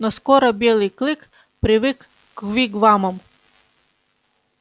но скоро белый клык привык к вигвамам